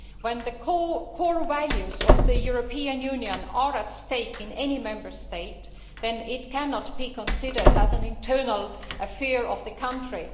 When the core values of the European Union are at stake in any Member State, then it cannot be considered as an internal affair of the country.